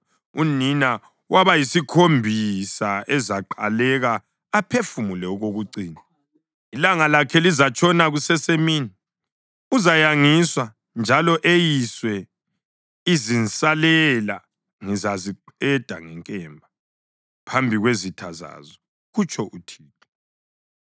Unina wabayisikhombisa uzaqaleka aphefumule okokucina. Ilanga lakhe lizatshona kusesemini; uzayangiswa njalo eyiswe. Izinsalela ngizaziqeda ngenkemba phambi kwezitha zazo,” kutsho uThixo.